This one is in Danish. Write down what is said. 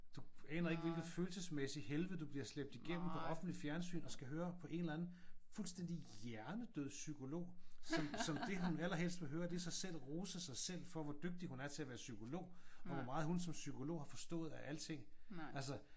Du aner ikke hvilket følelsesmæssigt helvede du bliver slæbt igennem på offentligt fjernsyn og skal høre på en eller anden fuldstændig hjernedød psykolog som som det hun allerhelst vil høre det er sig selv rose sig selv vil rose sig selv for hvor dygtig hun er til at være psykolog og hvor meget hun som psykolog har forstået alting altså